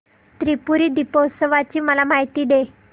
त्रिपुरी दीपोत्सवाची मला माहिती दे